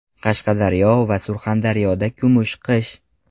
Qashqadaryo va Surxondaryoda kumush qish .